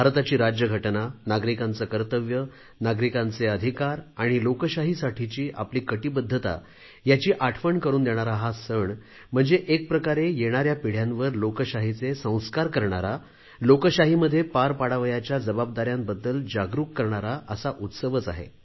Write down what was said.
भारताची राज्यघटना नागरिकांचे कर्तव्य नागरिकांचे अधिकार आणि लोकशाहीसाठीची आपली कटिबद्धता यांची आठवण करून देणारा हा सण म्हणजे एक प्रकारे येणाऱ्या पिढ्यांवर लोकशाहीचे संस्कार करणारा लोकशाहीमध्ये पार पाडावयाच्या जबाबदारीबद्दल जागरूक करणारा असा उत्सव आहे